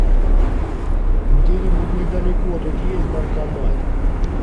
где нибудь недалеко тут есть банкомат